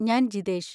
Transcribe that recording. ഞാൻ ജിതേഷ്.